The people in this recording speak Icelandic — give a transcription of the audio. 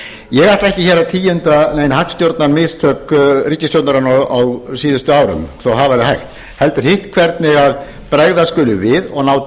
ég ætla ekki hér að tíunda nein hagstjórnarmistök ríkisstjórnarinnar á síðustu árum þó að það væri hægt heldur hitt hvernig bregðast skuli við og ná